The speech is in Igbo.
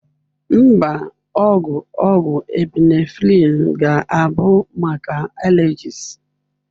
Mba, ogwu ogwu Epinephrine ga-abụ maka allergies.